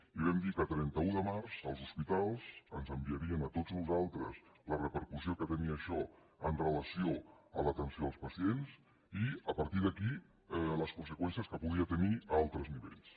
i vam dir que el trenta un de març els hospitals ens enviarien a tots nosaltres la repercussió que tenia això amb relació a l’atenció als pacients i a partir d’aquí les conseqüències que podia tenir a altres nivells